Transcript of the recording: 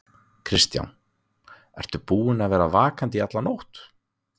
Kristján: Ertu búinn að vera vakandi í alla nótt?